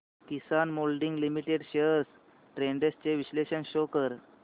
किसान moulding limited shares trends चे विश्लेषण show कर